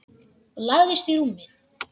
Og lagðist í rúmið.